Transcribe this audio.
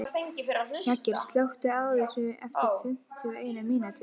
Jagger, slökktu á þessu eftir fimmtíu og eina mínútur.